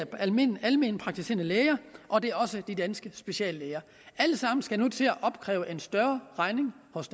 alment alment praktiserende læger og det er også de danske speciallæger alle sammen skal nu til at opkræve en større regning hos